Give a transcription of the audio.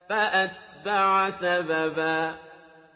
فَأَتْبَعَ سَبَبًا